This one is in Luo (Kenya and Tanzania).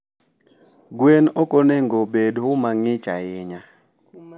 gwen okonegobed umangich ahinya